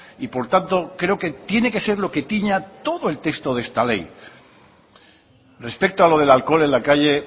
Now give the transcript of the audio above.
y por tanto creo que tiene que ser lo que tiña todo el texto de esta ley respecto a lo del alcohol en la calle